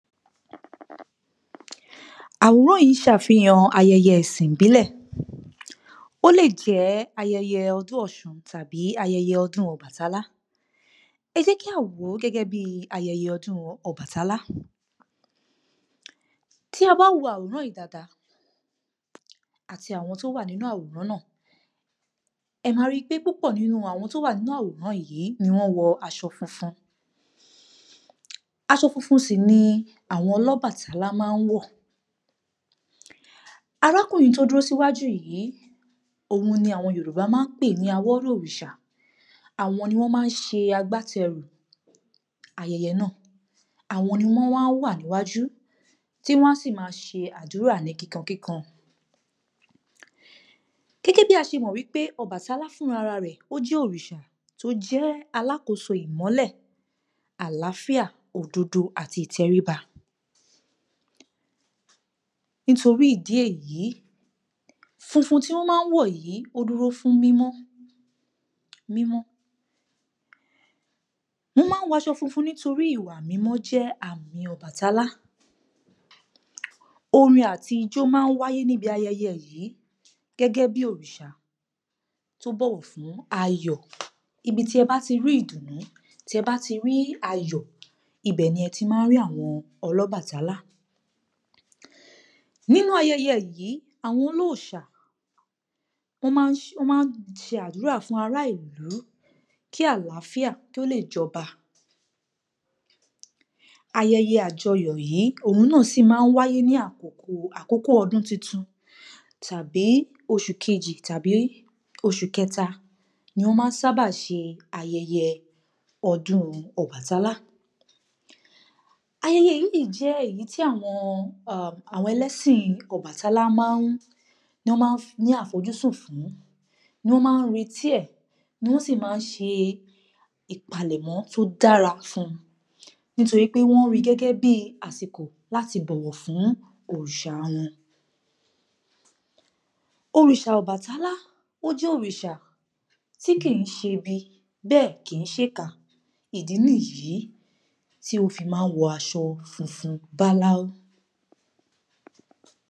Àwòrán yìí ṣàfihàn ayẹyẹ ẹ̀sìn ìbílẹ̀, ó lè jẹ́ ayẹyẹ ọdún ọ̀ṣun tàbí ọdún ọbàtálá. Ẹ jẹ́ kí a wò ó gẹ́gẹ́ bí ayẹyẹ ọdún ọbàtálá, tí a bá wo àwòrán yìí dáadáa, àti àwọn tó wà nínú àwòrán náà, ẹ máa ri pé púpọ̀ nínú àwọn tó wà nínú àwòrán yìí ni wọ́n wọ aṣọ funfun, aṣọ funfun sì ni àwọn ọlọ́bàtálá máa ń wọ̀. Arákùnrin tó dúró síwájú yìí, òun ni àwọn Yorùbá máa ń pè ni awọ́rò òrìṣà. Àwọn ni wọ́n máa ń ṣe agbátẹrù ayẹyẹ náà, àwọn ni wọ́n máa ń wà níwájú, tí wọ́n sì máa ṣe àdúrà ní kíkankíkan, gẹ́gẹ́ bí a ṣe mọ̀ wípé ọbàtálá fúnra rẹ̀, ó jẹ́ òrìṣà tó jẹ́ alákóso ìmọ́lẹ̀, àláfíà, òdodo àti ìtẹríba. Nítorí ìdí èyí, funfun tí wọ́n máa ń wọ̀ yìí, ó dúró fún mímọ́, mímọ́, wọ́n máa ń wọ aṣọ funfun nítorí ìwà mímọ́ jẹ́ àmì ọbàtálá. Orin àti ijọ́ máa ń wáyé níbi ayẹyẹ yìí, gẹ́gẹ́ bí òrìṣà tó bọ̀wọ̀ fún ayọ̀. Ibi tí ẹ bá ti rí ìdùnnú, tí ẹ bá ti rí ayọ̀, ibẹ̀ ni ẹ ti máa ń ri àwọn ọlọ́bàtálá. Nínú ayẹyẹ yìí, àwọn olóòṣà, wọ́n máa ń ṣe, wọ́n máa ń ṣe àdúrà fún ará ìlú kí àláfíà kó lè jọba. Ayẹyẹ àjọyọ̀ yìí, òhun náà sì máa ń wáyé ní àkókò, àkókò ọdún tuntun tàbi oṣù kejì tàbí oṣù kẹta ni wọ́n sábà ń ṣe aỵeyẹ ọdún ọbàtálá. Ayẹyẹ yìí jẹ́ èyí tí àwọn um àwọn ẹlẹ́sìn ọbàtálá máa, ni wọ́n máa ń ní àfojúsùn fún, ni wọ́n máa n retí ẹ̀, ni wọ́n sì máa ń ṣe ìpalẹ̀mọ́ tó dára fún un, nítorí pé wọ́n ri gẹ́gẹ́ bí àsìkò láti bọ̀wọ̀ fún òrìṣà wọn. Òrìṣà ọbàtálá, ó jẹ́ òrìṣà tí kì í ṣe ibi, bẹ́ẹ̀ kì í ṣèkà, ìdí nìyí tí ó fi máa ń wọ aṣọ funfun báláu ́